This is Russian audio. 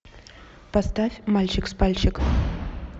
поставь мальчик с пальчик